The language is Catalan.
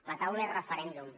la taula és referèndum